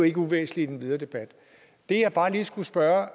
ikke uvæsentligt i den videre debat det jeg bare lige skulle spørge